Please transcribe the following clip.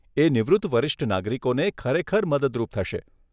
એ નિવૃત્ત વરિષ્ઠ નાગરિકોને ખરેખર મદદરૂપ થશે.